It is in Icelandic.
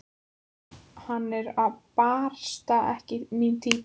Hann er barasta ekki mín týpa.